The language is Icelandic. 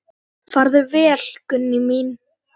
Farðu vel, Gunný mín.